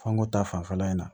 Fanko ta fanfɛla in na